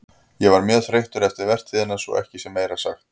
Ég var mjög þreyttur eftir vertíðina svo að ekki sé meira sagt.